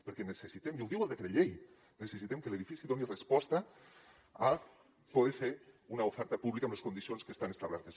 perquè necessitem i ho diu el decret llei que l’edifici doni resposta a poder fer una oferta pública amb les condicions que estan establertes